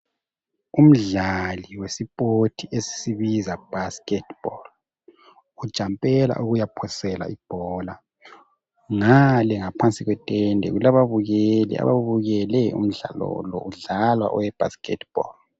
umdlali wesipoti esisibiza Basketball u jampela ukuya phosela ibhola ngale ngaphansi kwetende kulababukeli ababukele umdlalo lo udlalwa owe Basketball